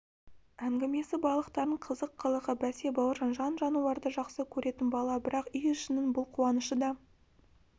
әңгімесі балықтардың қызық қылығы бәсе бауыржан жан-жануарды жақсы көретін бала бірақ үй ішінің бұл қуанышы да